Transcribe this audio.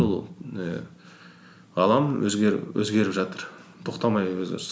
ол і алаң өзгеріп жатыр тоқтамай өзгеріс